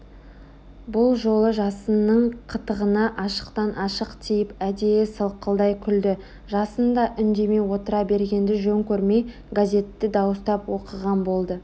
бұл жолы жасынның қытығына ашықтан-ашық тиіп әдейі сылқылдай күлді жасын да үндемей отыра бергенді жөн көрмей газетті дауыстап оқыған болды